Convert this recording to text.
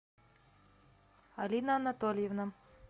алина анатольевна